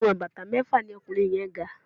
Ìwọ̀n bàtà mẹ́fà ní ọkùnrin yẹ́n ga.